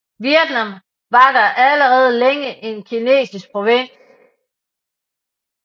Vietnam var da allerede længe en kinesisk provins